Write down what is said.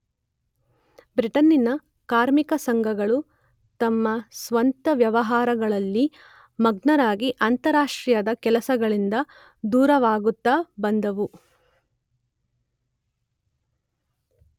ಬ್ರಿಟನ್ನಿನ ಕಾರ್ಮಿಕ ಸಂಘಗಳು ತಮ್ಮ ಸ್ವಂತ ವ್ಯವಹಾರಗಳಲ್ಲಿ ಮಗ್ನರಾಗಿ ಅಂತಾರಾಷ್ಟ್ರೀಯದ ಕೆಲಸಗಳಿಂದ ದೂರವಾಗುತ್ತ ಬಂದುವು.